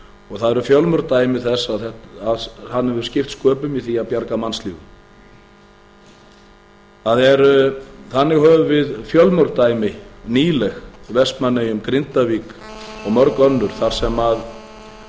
og það eru fjölmörg dæmi þess að hann hefur skipt sköpum í því að bjarga mannslífum þannig höfum við fjölmörg dæmi nýleg frá vestmannaeyjum grindavík og mörg önnur